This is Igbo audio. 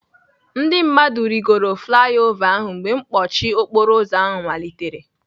Ndị mmadụ rịgoro flai ova ahụ mgbe mkpọchi okporoụzọ ahụ malitere.